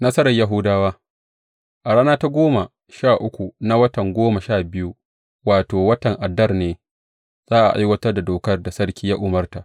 Nasarar Yahudawa A rana ta goma sha uku na watan goma sha biyu, wato, watan Adar ne za a aiwatar da dokar da sarki ya umarta.